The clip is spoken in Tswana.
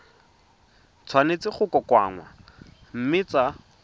tshwanetse go kokoanngwa mme tsa